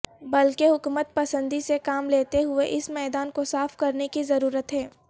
بلکہ حکمت پسندی سے کام لیتے ہوئے اس میدان کو صاف کرنے کی ضروت ہے